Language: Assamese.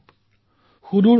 মোৰ নাম অলীনা তায়ংগ